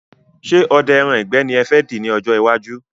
Ṣé odẹ ẹran ìgbẹ́ ni ẹ fẹ dì ní ọ̀jọ iwájú?